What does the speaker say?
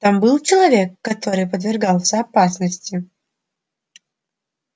там был человек который подвергался опасности